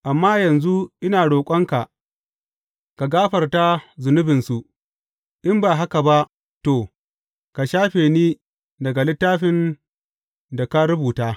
Amma yanzu, ina roƙonka ka gafarta zunubinsu, in ba haka ba, to, ka shafe ni daga littafin da ka rubuta.